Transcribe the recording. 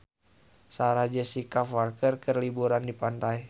Sarah Jessica Parker keur liburan di pantai